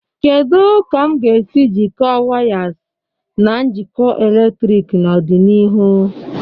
Kedu ka m ga-esi jikọọ wires na njikọ eletrik n'ọdịnihu?